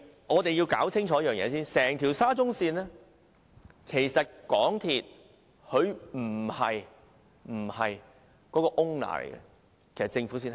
我們要先清楚一件事，沙中線整項工程，出資的不是港鐵公司，而是政府。